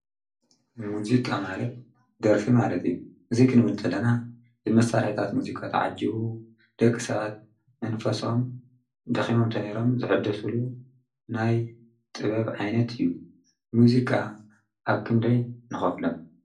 ሙዜቃ ማለት ደርፊ ማለት እዩ እዙይ ኽንበል ንተለና ዝመሣልሕታት ሙዚቃ ተዓጅዉ ደቂ ሰባት መንፈሶም ደኺሞኣምተነይሮም ዘሕድሱሉ ናይ ጥበብ ዓይነት እዩ ሙዚቃ ኣብ ክንደይ ንኸፍሎም።